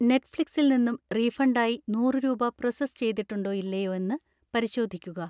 നെറ്റ്ഫ്ലിക്സിൽ നിന്നും റീഫണ്ടായി നൂറ് രൂപ പ്രോസസ്സ് ചെയ്തിട്ടുണ്ടോ ഇല്ലയോ എന്ന് പരിശോധിക്കുക.